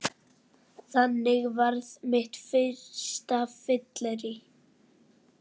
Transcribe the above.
Þannig varð mitt fyrsta fyllerí